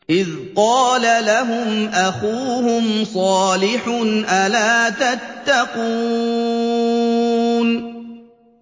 إِذْ قَالَ لَهُمْ أَخُوهُمْ صَالِحٌ أَلَا تَتَّقُونَ